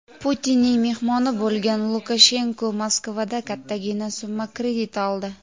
Putinning mehmoni bo‘lgan Lukashenko Moskvadan kattagina summa kredit oldi.